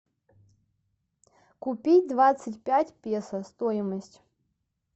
купить двадцать пять песо стоимость